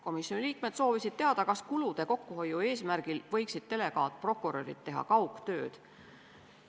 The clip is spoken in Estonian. Komisjoni liikmed soovisid teada, kas kulude kokkuhoiu eesmärgil võiksid delegaatprokurörid teha kaugtööd.